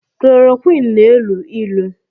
Kololoroqini na-elu ilu